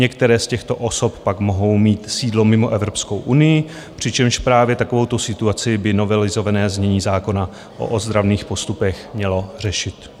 Některé z těchto osob pak mohou mít sídlo mimo Evropskou unii, přičemž právě takovouto situaci by novelizované znění zákona o ozdravných postupech mělo řešit.